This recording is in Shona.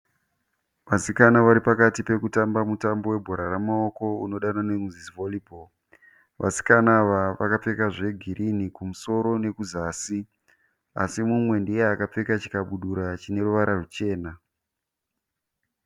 Vasikana vari pakati pekutamba bhora remaoko unodanwa nokunzi volleyball. Vasikana ava vakapfeka zvegirinhi kumusoro nekuzasi asi mumwe ndeakapfeka chikabudura chine ruvara rwuchena.